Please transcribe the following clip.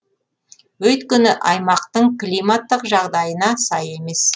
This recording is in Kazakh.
өйткені аймақтың климаттық жағдайына сай емес